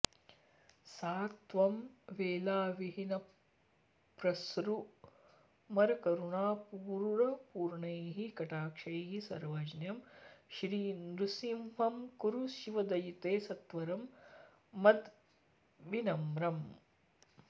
सा त्वं वेलाविहीनप्रसृमरकरुणापूरपूर्णैः कटाक्षैः सर्वज्ञं श्रीनृसिंहं कुरु शिवदयिते सत्वरं मद्विनम्रम्